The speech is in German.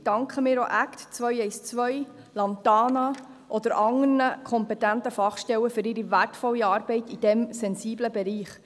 Gleichzeitig danken wir ACT212, Lantana oder anderen kompetenten Fachstellen für ihre wertvolle Arbeit in diesem sensiblen Bereich.